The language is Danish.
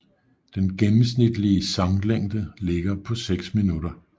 Den gennemsnitlige sanglængde ligger på seks minutter